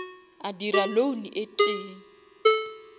a dira loan e tee